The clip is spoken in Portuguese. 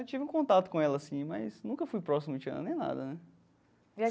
Eu tive um contato com ela, sim, mas nunca fui próximo de Tiana, nem nada, né?